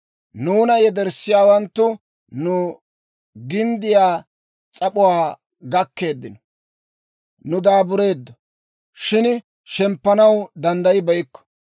Nuuna yederssiyaawanttu nu ginddiyaa s'ap'uwaa gakkeeddino. Nuuni daabureeddo, shin shemppanaw danddayibeykko.